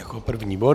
Jako první bod.